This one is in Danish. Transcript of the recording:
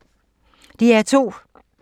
DR2